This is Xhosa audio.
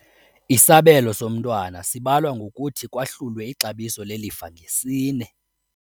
Isabelo somntwana sibalwa ngokuthi kwahlule ixabiso lelifa ngesine.